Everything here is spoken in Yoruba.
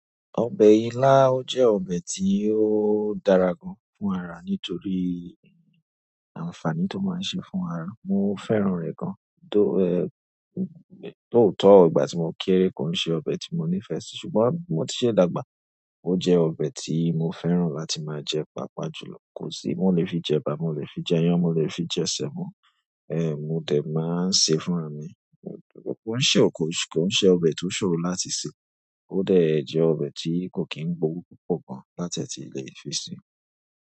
Ọbẹ̀ ilá jẹ́ ọbẹ̀ tí ó dára gan fún ara nítorí àǹfààní tó máa ń ṣe fún ara. Mo fẹ́ràn rẹ̀ gan, tó òótọ́ ìgbà tí mo kéré kò ṣe ọbẹ̀ tí mo nífẹ̀ẹ́ sí ṣùgbọ́n mó ti ṣe dàgbà ó jẹ ọbẹ̀ tí mo fẹ́ràn láti máa jẹ papajùlọ. Kò sí, mo lè fi jẹ ba, mo lè fi jẹ iyán, mo lè fi jẹ sẹ̀mọ́, mo dè máa ń ṣe fún ara mi. Ó ṣe ọkọ, kò ṣe ọbẹ̀ tó ṣòro láti sè, ó dà jẹ ọbẹ̀ tí kò kí n gbówó púpọ̀ gan láti ẹ ti lè fi sí.